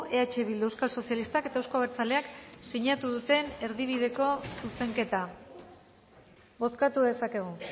eh bildu euskal sozialistak eta euzko abertzaleak sinatu duten erdibideko zuzenketa bozkatu dezakegu